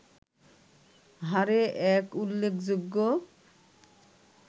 হারে এক উল্লেখযোগ্য